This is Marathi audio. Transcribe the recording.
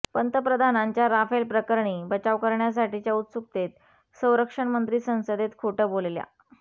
पंतप्रधानांच्या राफेल प्रकरणी बचाव करण्यासाठीच्या उत्सुकतेत संरक्षण मंत्री संसदेत खोटं बोलल्या